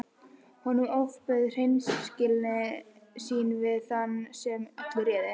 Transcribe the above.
Honum ofbauð hreinskilni sín við þann sem öllu réði.